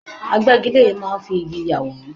Agbẹgilére máa ń fi igi ya àwòrán.